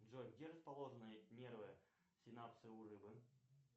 джой где расположены нервы синапсы у рыбы